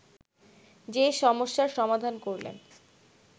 সে সমস্যার সমাধান করলেন